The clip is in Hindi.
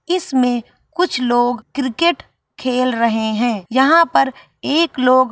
इसमे कुछ लोग क्रिकेट खेल रहे है यहां पर एक लोग --